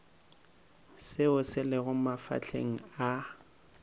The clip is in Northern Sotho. seo se lego mafahleng a